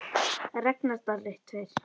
Ragnar Darri.